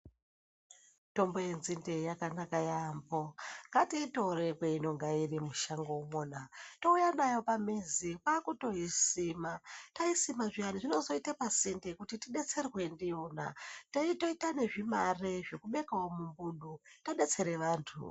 Mitombo yenzinde yakanaka yambo ngatiitore mainonga iri mushango umona touya nayo pamizi kwaakutoisima. Taisima zviyani zvinozoita pasinde kuti tidetserwe ndiyona, teitoita nezvimari zvekubekavo mumbudu tadetsere vantu.